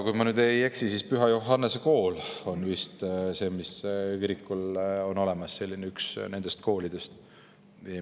Kui ma nüüd ei eksi, siis Püha Johannese Kool on selle kiriku all, üks koolidest.